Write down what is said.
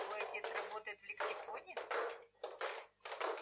твой отец работает в лексиконе